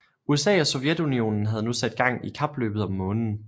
USA og Sovjetunionen havde nu sat gang i kapløbet om Månen